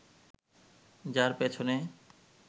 যার পেছনে